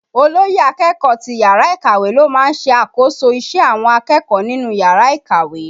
Olóyè akẹ́kọ̀ọ́ ti yàrá ìkàwé ló máa ń ṣe àkóso ìṣe àwọn akẹ́kọ̀ọ́ nínú yàrá ìkàwé